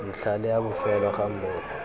ntlha le a bofelo gammogo